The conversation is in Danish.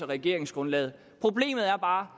regeringsgrundlaget problemet er bare